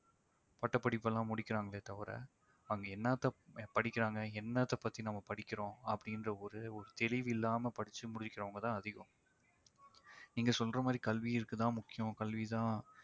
பட்டப் படிப்பெல்லாம் முடிகிறாங்களே தவிர அங்க என்னத்தப் படிக்கிறாங்க என்னத்த பத்தி நம்ம படிக்கிறோம் அப்படி என்ற ஒரே ஒரு தெளிவில்லாமல் படிச்சு முடிக்கிறவங்க தான் அதிகம் நீங்க சொல்ற மாதிரி கல்வி இருக்கு தான் முக்கியம் கல்வி தான்